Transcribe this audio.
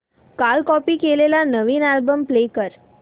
काल कॉपी केलेला नवीन अल्बम प्ले कर